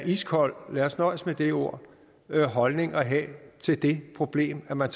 iskold lad os nøjes med det ord holdning at have til det problem at man